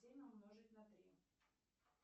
семь умножить на три